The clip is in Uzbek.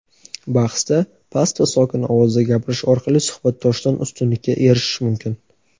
bahsda past va sokin ovozda gapirish orqali suhbatdoshdan ustunlikka erishish mumkin.